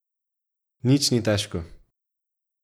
Nič ni težko.